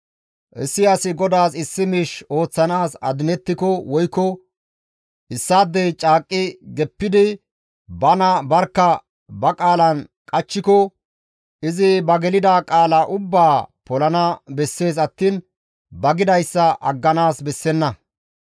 Issi asi GODAAS issi miish ooththanaas adinettiko woykko issaadey caaqqi geppidi bana barkka ba qaalan qachchiko izi ba gelida qaala ubbaa polana bessees attiin ba gidayssa agganaas bessenna.